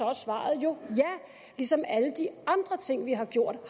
er svaret jo ja ligesom alle de andre ting vi har gjort